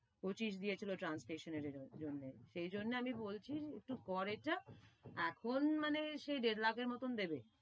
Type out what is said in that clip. পঁচিশ দিয়েছিলো translation এর জন্যে। সেজন্য আমি বলছি তুই কর এটা, এখন মানে সে দেড় লাখের মতন দেবে।